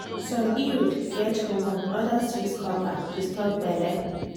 some iud get hormone others use copper to stop belle.